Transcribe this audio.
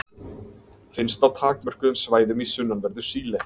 Finnst á takmörkuðum svæðum í sunnanverðu Síle.